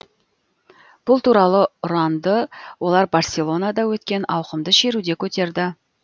бұл туралы ұранды олар барселонада өткен ауқымды шеруде көтерді